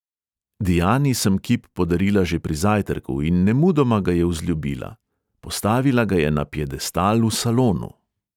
Diani sem kip podarila že pri zajtrku in nemudoma ga je vzljubila; postavila ga je na piedestal v salonu.